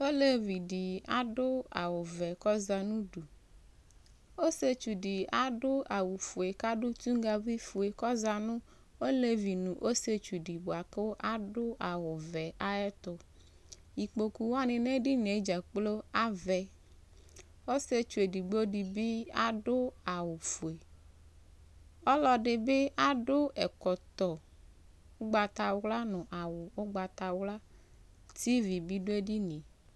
olevi di ado awu vɛ k'ɔza n'udu ɔsietsu di ado awu fue k'ado tonŋgavi fue k'ɔza no olevi no ɔsietsu boa kò ado awu vɛ ayɛto ikpoku wani n'edinie dzakplo avɛ ɔsietsu edigbo di bi ado awu fue ɔloɛdi bi ado ɛkɔtɔ ugbata wla no awu ugbata wla tv bi do edinie